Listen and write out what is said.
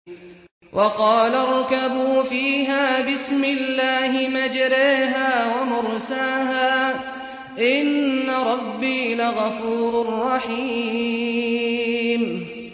۞ وَقَالَ ارْكَبُوا فِيهَا بِسْمِ اللَّهِ مَجْرَاهَا وَمُرْسَاهَا ۚ إِنَّ رَبِّي لَغَفُورٌ رَّحِيمٌ